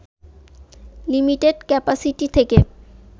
limited capacity থেকে